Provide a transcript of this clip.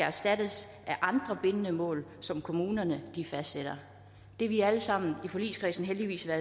erstattes af andre bindende mål som kommunerne fastsætter det er vi alle sammen i forligskredsen heldigvis